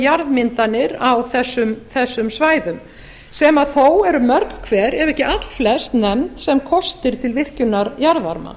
jarðmyndanir á þessum svæðum sem þó eru mörg hver ef ekki allflest nefnd sem kostir til virkjunar jarðvarma